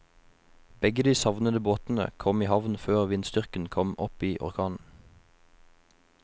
Begge de savnede båtene kom i havn før vindstyrken kom opp i orkan.